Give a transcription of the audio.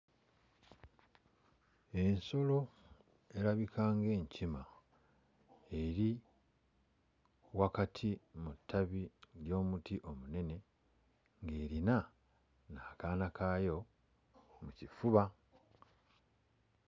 Ensolo erabika ng'ekima eri wakati mu ttabi ly'omuti omunene ng'erina n'akaana kaayo mu kifuba.